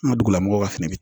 An ka dugulamɔgɔw ka fɛnɛ